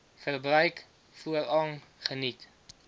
verbruik voorrang geniet